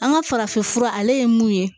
An ka farafin fura ale ye mun ye